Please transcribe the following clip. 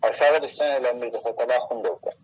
Aşağıda istəyəndə bir dənə futbol axundu var.